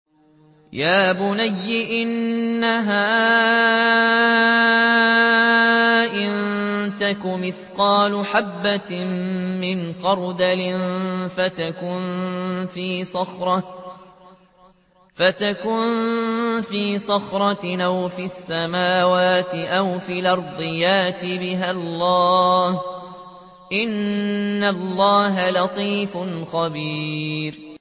يَا بُنَيَّ إِنَّهَا إِن تَكُ مِثْقَالَ حَبَّةٍ مِّنْ خَرْدَلٍ فَتَكُن فِي صَخْرَةٍ أَوْ فِي السَّمَاوَاتِ أَوْ فِي الْأَرْضِ يَأْتِ بِهَا اللَّهُ ۚ إِنَّ اللَّهَ لَطِيفٌ خَبِيرٌ